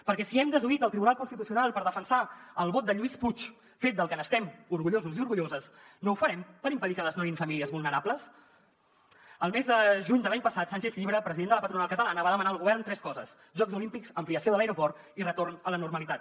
perquè si hem desoït el tribunal constitucional per defensar el vot de lluís puig fet del que n’estem orgullosos i orgulloses no ho farem per impedir que desnonin famílies vulnerables el mes de juny de l’any passat sánchez llibre president de la patronal catalana va demanar al govern tres coses jocs olímpics ampliació de l’aeroport i retorn a la normalitat